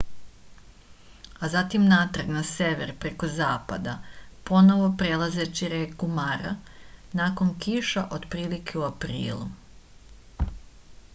a zatim natrag na sever preko zapada ponovo prelazeći reku mara nakon kiša otprilike u aprilu